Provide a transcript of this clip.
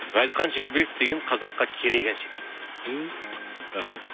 ғазизхан шекербеков деген қазаққа керек әнші дейді түү рахмет